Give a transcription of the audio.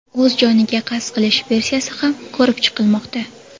O‘z joniga qasd qilish versiyasi ham ko‘rib chiqilmoqda.